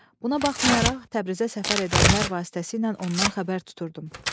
Buna baxmayaraq Təbrizə səfər edənlər vasitəsilə ondan xəbər tuturdum.